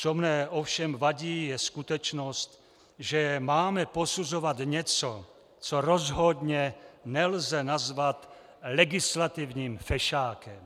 Co mi ovšem vadí, je skutečnost, že máme posuzovat něco, co rozhodně nelze nazvat legislativním fešákem.